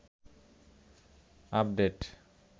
update